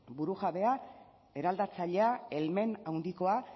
burujabea eraldatzailea helmen handikoa